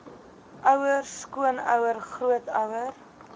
ouer skoonouer grootouer